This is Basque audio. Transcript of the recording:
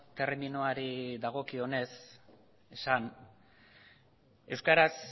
terminoari dagokionez esan euskaraz